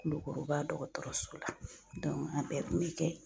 Kulukoroba dɔgɔtɔrɔso la a bɛɛ kun be kɛ ye.